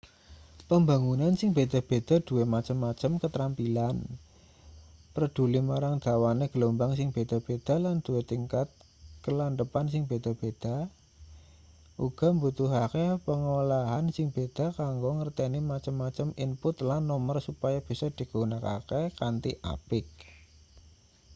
pambangunan sing beda-beda duwe macem-macem katrampilan preduli marang dawane gelombang sing beda-beda lan duwe tingkat kalandhepan sing beda-beda uga mbutuhake pangolahan sing beda kanggo ngerteni macem-macem input lan nomer supaya bisa digunakake kanthi apik